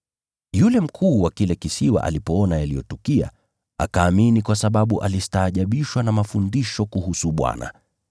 Yule mkuu wa kile kisiwa alipoona yaliyotukia, akaamini kwa sababu alistaajabishwa na mafundisho kuhusu Bwana.